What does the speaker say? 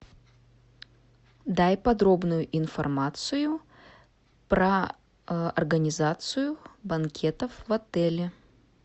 дай подробную информацию про организацию банкетов в отеле